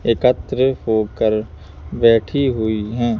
एकत्र होकर बैठी हुई हैं।